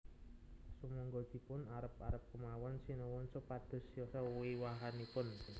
Sumangga dipun arep arep kemawon Sinuwun supados siyosa wiwahanipun